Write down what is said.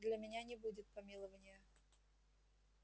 для меня не будет помилования